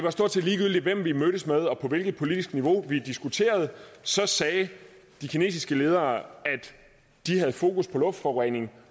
og stort set ligegyldigt hvem vi mødtes med og på hvilket politisk niveau vi diskuterede så sagde de kinesiske ledere at de havde fokus på luftforurening